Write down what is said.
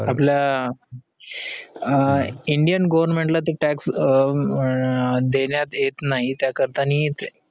आपल्या अं indian government ला ते tax अं देण्यात येत नाही त्याकरता